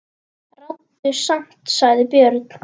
Ráddu samt, sagði Björn.